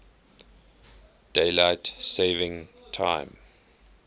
daylight saving time